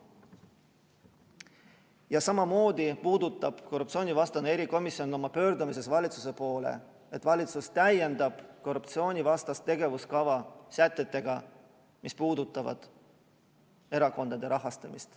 Ja samamoodi puudutab korruptsioonivastane erikomisjon oma pöördumises valitsuse poole ka seda, et valitsus täiendaks korruptsioonivastast tegevuskava sätetega, mis puudutavad erakondade rahastamist.